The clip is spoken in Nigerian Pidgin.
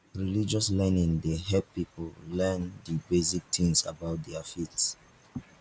religious learning dey help pipo learn di basic things about their faith